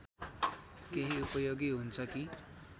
केही उपयोगी हुन्छ कि